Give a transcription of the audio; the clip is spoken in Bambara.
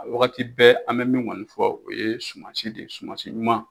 A bɛ wagati bɛ an bɛ min kɔni fɔ o ye suman si de ye suman si ɲuman